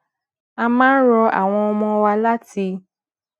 a máa ń rọ àwọn ọmọ wa láti